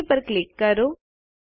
okay પર click કરો